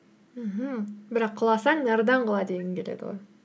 мхм бірақ құласаң нардан құла дегің келеді ғой